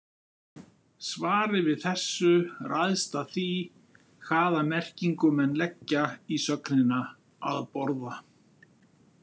Svarið við þessu ræðst af því hvaða merkingu menn leggja í sögnina að borða.